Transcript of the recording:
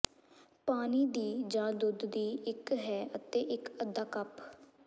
ਪਾਣੀ ਦੀ ਜ ਦੁੱਧ ਦੀ ਇੱਕ ਹੈ ਅਤੇ ਇੱਕ ਅੱਧਾ ਕੱਪ